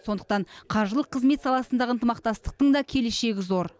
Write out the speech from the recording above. сондықтан қаржылық қызмет саласындағы ынтымақтастықтың да келешегі зор